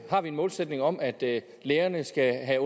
har vi en målsætning om at lærerne skal have